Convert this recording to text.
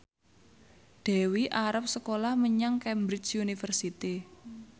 Dewi arep sekolah menyang Cambridge University